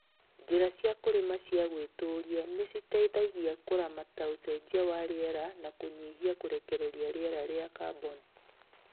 Njĩra cia kũrĩma cia gwĩtũria nĩciteithagia kũramata ũcenjia wa rĩera na kũnyihia kũrekereria rĩera rĩa carbon